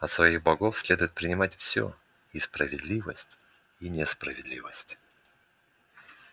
от своих богов следует принимать всеи справедливость и несправедливость